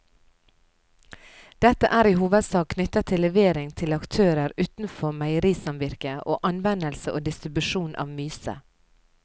Dette er i hovedsak knyttet til levering til aktører utenfor meierisamvirket og anvendelse og distribusjon av myse.